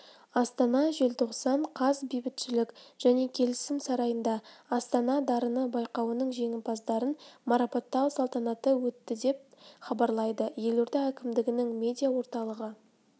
астана желтоқсан қаз бейбітшілік және келісім сарайында астана дарыны байқауының жеңімпаздарын марапаттау салтанаты өтті деп хабарлайды елорда әкімдігінің медиа орталығы